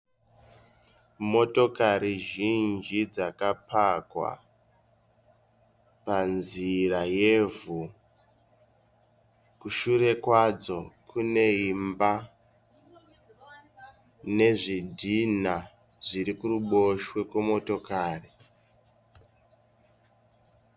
Motokari zhinji dzakapakwa panzira yevhu. Kushure kwadzo kune imba nezvidhinha zviri kuruboshwe kwemotokari.